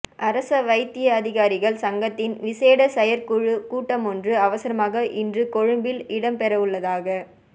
அரச வைத்திய அதிகாரிகள் சங்கத்தின் விசேட செயற்குழுக் கூட்டமொன்று அவசரமாக இன்று கொழும்பில் இடம்பெறவுள்ளதாக